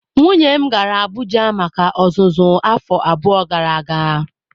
Nwunye m gara Abuja maka ọzụzụ afọ abụọ gara aga.